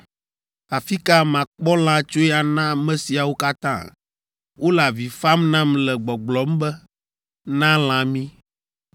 Afi ka makpɔ lã tsoe ana ame siawo katã? Wole avi fam nam le gbɔgblɔm be, ‘Na lã mí’